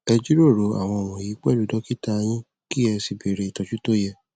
ẹ jíròrò àwọn wọnyí pẹlú dọkítà yín kí ẹ sì bẹrẹ ìtòjú tó yẹ